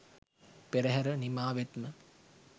පෙරහැර නිමා වෙත්ම